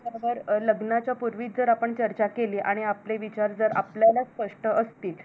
हेच बरोबर लग्नाच्या पूर्वीच जर आपण चर्चा केली आणि आपले विचार आपल्यालाच स्पष्ट असतील.